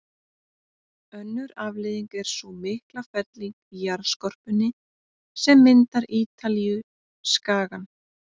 Önnur afleiðing er sú mikla felling í jarðskorpunni sem myndar Ítalíuskagann.